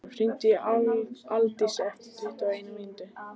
Adólf, hringdu í Aldísi eftir tuttugu og eina mínútur.